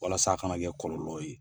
Walasa a kana kɛ kɔlɔlɔw ye